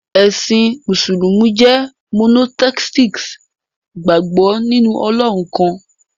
Ẹ̀sìn Mùsùlùmí jẹ́ monotheistic, ìgbàgbọ́ nínú Ọlọ́run kan.